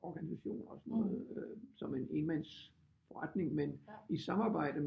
Organisationer og sådan noget som en enmandsforretning men i samarbejde